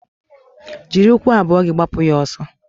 Jiri ụkwụ abụọ gị gbapụ ya ọsọ!